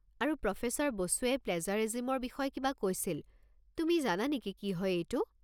আৰু প্ৰফেছৰ বসুৱে প্লেজাৰিজিমৰ বিষয়ে কিবা কৈছিল, তুমি জানা নেকি কি হয় এইটো?